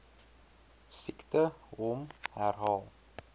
siekte hom herhaal